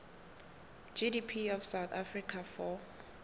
gdp of south africa for